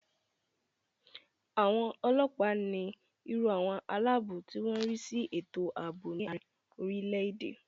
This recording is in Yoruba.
Àwọn ọlọ́ọ̀pá ní irú àwọn aláàbò tí wọ́n má n rí sí ètò àbò ní àrin orile-èdè